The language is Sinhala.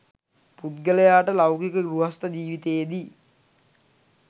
පුද්ගලයාට ලෞකික ගෘහස්ත ජීවිතයේදී